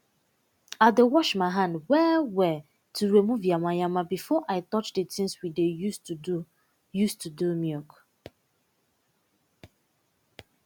i dey wash my hand well well to remove yamayama before i touch de tins we dey use to do use to do milk